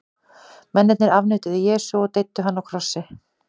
Mennirnir afneituðu Jesú og deyddu hann á krossi.